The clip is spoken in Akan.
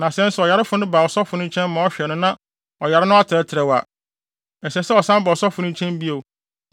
Na sɛ nso ɔyarefo no ba ɔsɔfo no nkyɛn ma ɔhwɛ no na ɔyare no atrɛtrɛw a, ɛsɛ sɛ ɔsan ba ɔsɔfo no nkyɛn bio